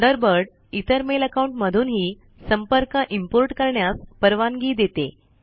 Thunderbird इतर mail account मधून हि संपर्क इम्पोर्ट करण्यास परवानगी देते